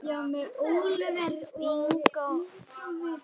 Samt ekki.